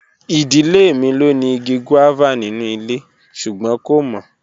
Idile mi lo ni igi guava ninu ile sugbon ko mo.